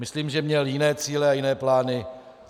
Myslím, že měl jiné cíle a jiné plány.